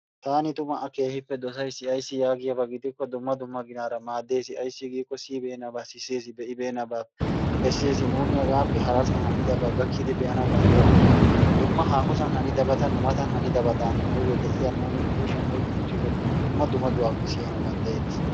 Taani tumma a keehippe dossays. Ayssi giyaaba gidikko dumma dumma ginaara maaddees. Ayssi giiko siyyibeenaba sissees, be'ibeenabaa bessees, nuunni hagappe harassan hanidaaba gakkidi be'anaw danddayyokko gin dumma haahosan haniddabata nu mata hanidaabadan ha'i ha nu kushiyan oykki uttido dumma dummatubappe siyyanaw danddayeetees.